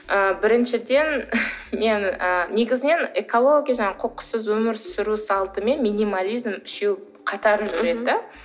ы біріншіден мен і негізінен экология жаңағы қоқыссыз өмір сүру салты мен минимализм үшеуі қатар жүреді де